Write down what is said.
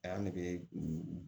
A y'an nege